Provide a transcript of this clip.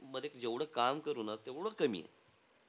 मध्ये जेव्हडा काम करू ना तेव्हडं कमीये.